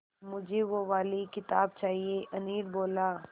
मुझे वो वाली किताब चाहिए अनिल बोला